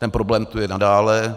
Ten problém tu je nadále.